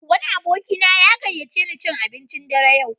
Wani abokina ya gayyace ni cin abincin dare yau.